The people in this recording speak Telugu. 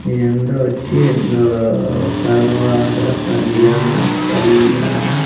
ఏందో వచ్చి ఏందో కరువారు కార్యాణ కళ్యాణ--